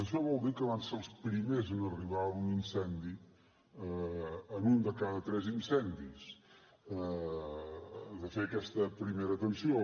això vol dir que van ser els primers en arribar a un incendi en un de cada tres incendis de fer aquesta primera atenció